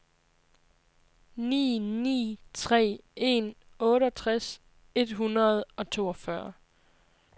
ni ni tre en otteogtres et hundrede og toogfyrre